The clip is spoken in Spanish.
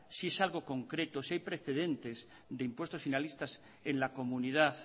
si es algo concreto si hay precedente de impuestos finalistas en la comunidad